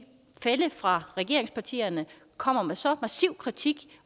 fælle fra regeringspartierne kommer med så massiv kritik